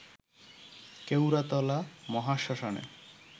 Keoratala মহাশ্মশানে